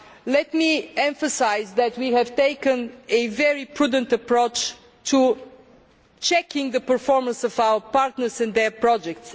Let me emphasise that we have taken a very prudent approach to checking the performance of our partners and their projects.